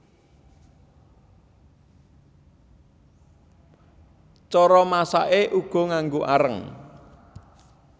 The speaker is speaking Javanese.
Cara masaké uga nganggo areng